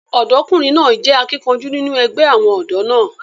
ọ̀dọ́kùnrin náà jẹ́ akíkanjú nínú ẹgbẹ́ àwọn ọ̀dọ́ náà